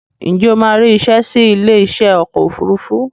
Ǹjẹ́ o máa rí isẹ́ sí ilé iṣẹ́ ọkọ̀ òfurufú